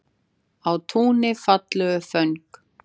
Á túni falleg föng.